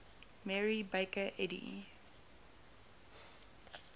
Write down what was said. mary baker eddy